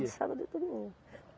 Todo sábado e domingo.